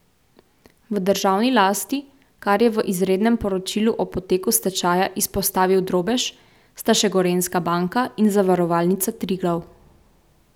V državni lasti, kar je v izrednem poročilu o poteku stečaja izpostavil Drobež, sta še Gorenjska banka in Zavarovalnica Triglav.